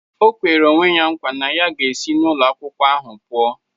O kwere onwe ya nkwa na ya ga-esi n'ụlọ akwụkwọ ahụ pụo.